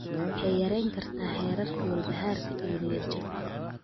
waxay yarayn kartaa heerarka walbahaarka iyo niyad-jabka.